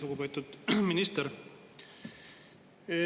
Lugupeetud minister!